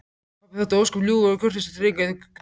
Pabbi þótti ósköp ljúfur og kurteis drengur en dulur.